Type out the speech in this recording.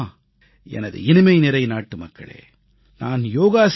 எனது இனிமைநிறை நாட்டுமக்களே நான் யோகாசிரியர் அல்ல